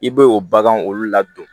I bɛ o bagan olu ladon